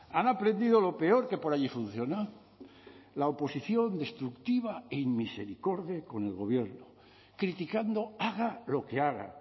han aprendido lo peor que por allí funciona la oposición destructiva e inmisericorde con el gobierno criticando haga lo que haga